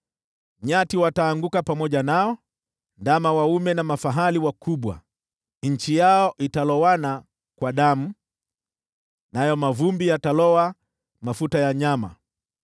Nyati wataanguka pamoja nao, ndama waume na mafahali wakubwa. Nchi yao italowana kwa damu, nayo mavumbi yataloa mafuta ya nyama.